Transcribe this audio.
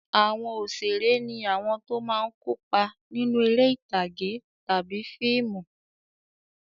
Àwọn òṣèré ní àwọn tó máa ń kópa nínú eré ìtàgé tàbí fíìmù.